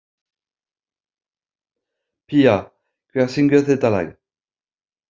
Pía, hver syngur þetta lag?